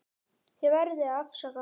Þið verðið að afsaka.